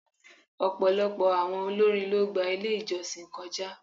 Ọ̀pọ̀lọpọ̀ àwọn olórin ló gba ilé ìjọsìn kọjá.